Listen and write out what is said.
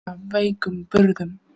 Af veikum burðum.